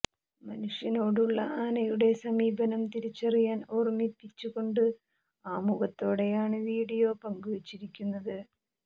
മനുഷ്യനോടുള്ള ആനയുടെ സമീപനം തിരിച്ചറിയാൻ ഓർമ്മിപ്പിച്ച് കൊണ്ട് ആമുഖത്തോടെയാണ് വീഡിയോ പങ്കുവെച്ചിരിക്കുന്നത്